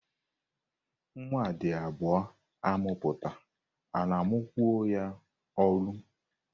Nwa a dị abụọ amụpụta a na-amụkwo ya olu.